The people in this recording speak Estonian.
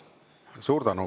Suur tänu!